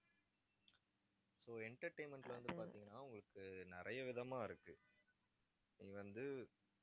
so entertainment ல வந்து பார்த்தீங்கன்னா உங்களுக்கு நிறைய விதமா இருக்கு நீ வந்து